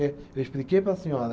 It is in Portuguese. Eu expliquei para a senhora.